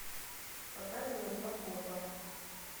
показывай два копа